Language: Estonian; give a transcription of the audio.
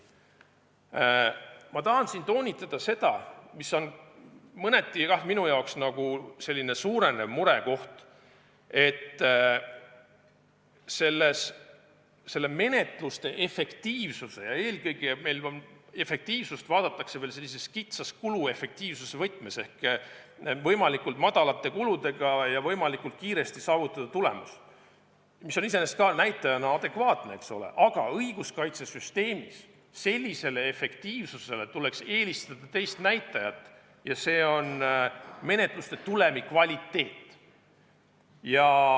Ma tahan toonitada seda, et minu arvates on suurenev murekoht see, et menetluse efektiivsusele – ja eelkõige vaadatakse efektiivsust meil sellises kitsas kuluefektiivsuse võtmes, see tähendab, et võimalikult väikeste kuludega ja võimalikult kiiresti tuleb saavutada tulemus, mis on iseenesest ka näitajana adekvaatne – tuleks õiguskaitsesüsteemis eelistada teist näitajat ja see on menetluste tulemi kvaliteet.